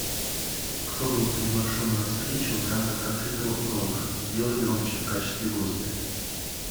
кто был приглашен на встречу в рамках открытого урока сделай громче в качестве гостя